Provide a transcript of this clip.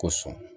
Ko sɔn